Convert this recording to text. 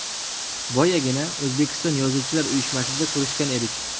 Boyagina, O‘zbekiston Yozuvchilar uyushmasida ko‘rishgan edik.